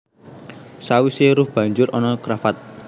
Sawisé ruff banjur ana cravat